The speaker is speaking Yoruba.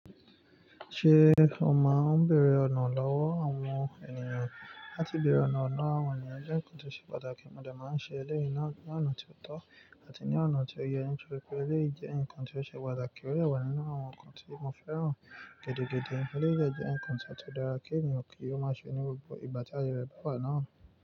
Ṣé o maà ń bèèrè ọ̀nà lọ́wọ́ àwọn ènìyàn? Láti bèèrè ọ̀nà lowo àwọn ènìyàn jẹ́ nǹkan tó ṣe pàtàkì. Mo de máa ń ṣe eléyìí náà ní ọ̀nà tí ó tọ́ àti ní ọ̀nà tí ó yẹ ní tòri pe. Eléyìí jẹ́ ǹnkan tí ó ṣe pàtàkì. Ó dẹ wà nínú àwọn ǹnkan tí mo fẹ́ràn gẹ́dọ̀gẹ́dọ̀. Eleyii de jẹ́ nǹkan to o tun dára kí ènìyàn kí ó máa ṣe ní gbogbo ìgbà tí ayẹ re ba wà náà.